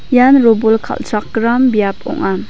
ian robol kal·chrakram biap ong·a.